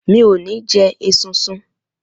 Mi ò ní jẹ esunsun